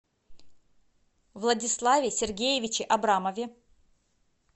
владиславе сергеевиче абрамове